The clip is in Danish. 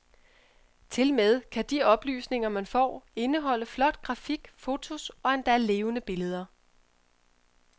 Tilmed kan de oplysninger, man får, indeholde flot grafik, fotos og endda levende billeder.